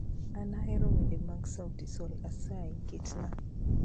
An ahero wende mag sauti sol asayi ketnaa